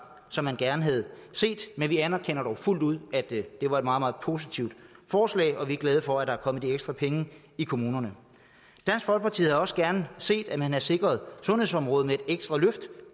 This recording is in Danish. som man gerne havde set men vi anerkender dog fuldt ud at det var et meget meget positivt forslag og vi er glade for at der er kommet de ekstra penge i kommunerne dansk folkeparti havde også gerne set at man havde sikret sundhedsområdet med et ekstra løft